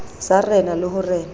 sa rena le ho rena